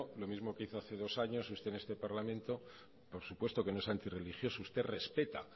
lo mismo que hizo hace dos años usted en este parlamento por supuesto que no es antirreligioso usted respeta